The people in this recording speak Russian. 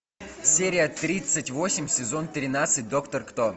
серия тридцать восемь сезон тринадцать доктор кто